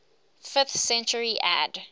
fifth century ad